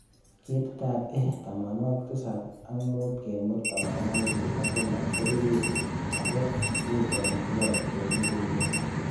Ketitab A75/83 ko birir ago u telebot chemugulen.